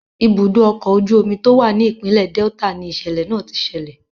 Ibùdó ọkọ̀ ojú omi tó wà ni ìpínlẹ̀ Delta ni ìṣẹ̀lẹ̀ náà ti ṣẹlẹ̀.